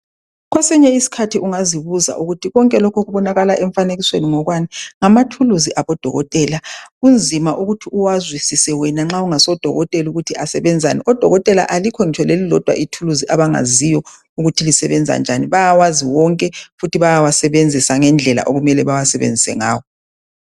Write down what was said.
Kwesinye isikhathi ungazibuza ukuthi konke lokhu okubonakala emfanekisweni ngokwani, ngamathuluzi abadokotela. Kunzima ukuthi uwazwisise wena nxa ungasodokotela ukuthi asebenzani. Odokotela alikho ngitsho lelilodwa ithuluzi abangalaziyo ukuthi lisebenza njanii, bayawazi wonke futhi bayawasebenzisa ngendlela okumele bawasebenzise ngawo